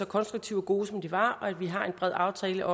konstruktive og gode som de var og at vi har en bred aftale